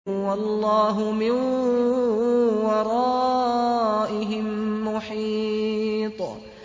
وَاللَّهُ مِن وَرَائِهِم مُّحِيطٌ